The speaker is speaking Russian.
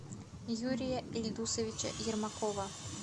юрия ильдусовича ермакова